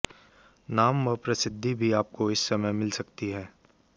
नाम व प्रसिद्धि भी आपको इस समय मिल सकती है